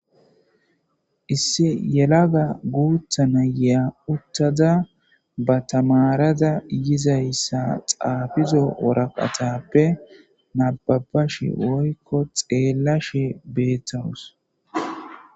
isse yelaga guutha nayeya uttada ba tamarada yizayssa xaafizo woraqatappe nababashe woykko xeellashe beettawus